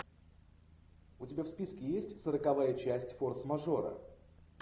у тебя в списке есть сороковая часть форс мажора